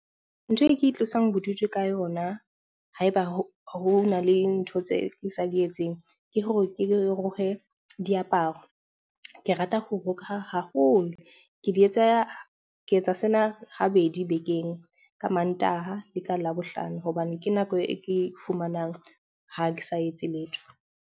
Ntho e ke itlosang bodutu ka yona ha eba ho na le ntho tse ke sa di etseng, ke hore ke diaparo. Ke rata ho roka haholo. Ke di etsa, ke etsa sena habedi bekeng ka Mantaha le ka Labohlano hobane ke nako e ke fumanang ha ke sa etse letho.